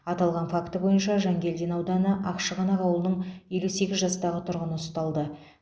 аталған факті бойынша жангелдин ауданы ақшығанақ ауылының елу сегіз жастағы тұрғыны ұсталды